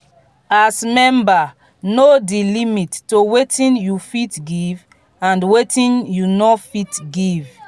as member know di limit to wetin you fit give and wetin you no fit give